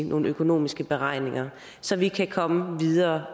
nogle økonomiske beregninger så vi kan komme videre